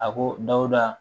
A ko dawuda